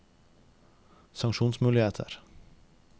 sanksjonsmuligheter